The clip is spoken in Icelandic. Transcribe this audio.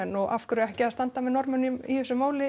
og af hverju ekki að standa með Norðmönnum í þessu máli